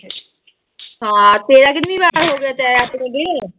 ਹਾਂ ਤੇਰਾ ਕਿੰਨਵੀਂ ਵਾਰ ਹੋ ਗਿਆ ਤੇਰਾ